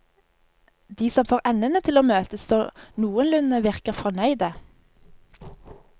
De som får endene til å møtes så noenlunde, virker fornøyde.